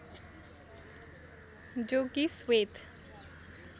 जो कि श्वेत